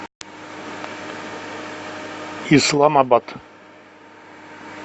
исламабад